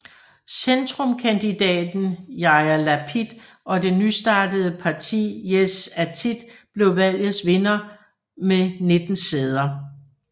Centrumskandidaten Yair Lapid og det nystartede partiet Yesh Atid blev valgets vindere med 19 sæder